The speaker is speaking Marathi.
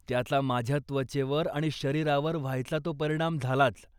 त्याचा माझ्या त्वचेवर आणि शरीरावर व्हायचा तो परिणाम झालाच.